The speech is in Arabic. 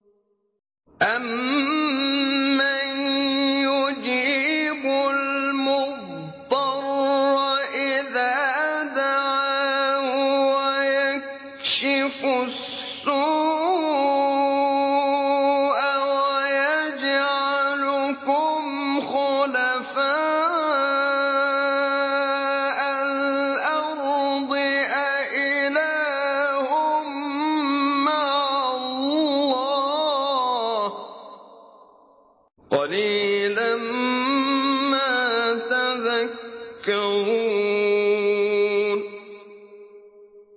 أَمَّن يُجِيبُ الْمُضْطَرَّ إِذَا دَعَاهُ وَيَكْشِفُ السُّوءَ وَيَجْعَلُكُمْ خُلَفَاءَ الْأَرْضِ ۗ أَإِلَٰهٌ مَّعَ اللَّهِ ۚ قَلِيلًا مَّا تَذَكَّرُونَ